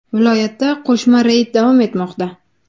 Viloyatda qo‘shma reyd davom etmoqda.